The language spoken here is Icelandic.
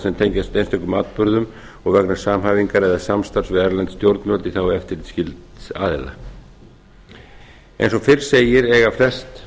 sem tengjast einstökum atburðum og vegna samhæfingar eða samstarfs við erlend stjórnvöld í þágu eftirlitsskylds aðila eins og fyrr segir eiga flest